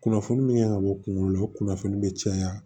Kunnafoni min kan ka bɔ kunkolo la o kunnafoni bɛ caya